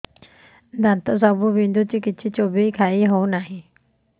ଦାନ୍ତ ସବୁ ବିନ୍ଧୁଛି କିଛି ଚୋବେଇ ଖାଇ ହଉନି